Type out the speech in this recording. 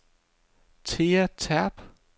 Thea Terp